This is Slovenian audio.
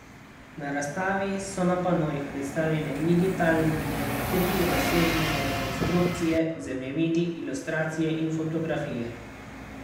Na razstavi so na panojih predstavljene digitalne trirazsežne rekonstrukcije, zemljevidi, ilustracije in fotografije.